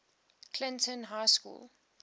clinton high school